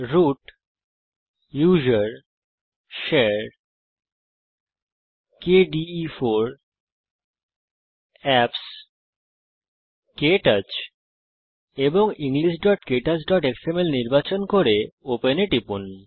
root gtusr gtshare gtkde4 gt অ্যাপসগ্ট ক্টাচ englishktouchএক্সএমএল নির্বাচন করুন এবং ওপেন এ টিপুন